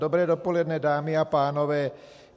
Dobré dopoledne, dámy a pánové.